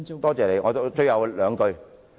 多謝你，我說最後兩句。